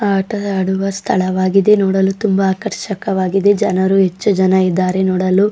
ಆಟ ಆಡುವ ಸ್ಥಳವಾಗಿದೆ ನೋಡಲು ತುಂಬಾ ಆಕರ್ಷಕವಾಗಿದೆ ಜನರು ಹೆಚ್ಚು ಜನರು ಇದ್ದಾರೆ ನೋಡಲು.